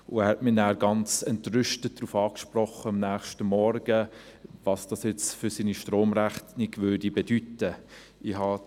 Er sprach mich am nächsten Morgen ganz entrüstet darauf an, was dies jetzt für seine Stromrechnung bedeuten würde.